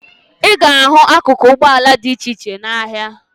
Ị ga-ahụ akụkụ ụgbọala dị iche iche n'ahịa